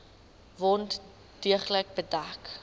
wond deeglik bedek